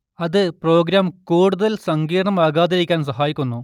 അത് പ്രോഗ്രാം കൂടുതൽ സങ്കീർണ്ണമാകാതിരിക്കാൻ സഹായിക്കുന്നു